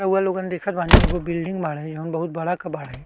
रउवा लोगन देखत बानी एगो बिल्डिंग बाड़े जो बहुत बड़ा क बाड़े।